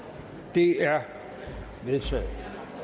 det er vedtaget